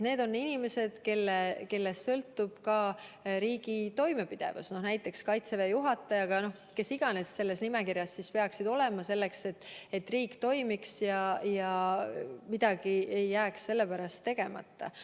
Need on inimesed, kellest sõltub riigi toimepidevus, näiteks kaitseväe juhataja – kes iganes, kes selles nimekirjas peaksid olema, et riik toimiks ja midagi ei jääks sellepärast tegemata.